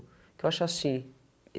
O que eu acho assim?